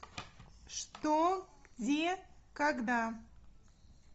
что где когда